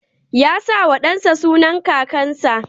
Ya sa wa ɗan sa sunan kakansa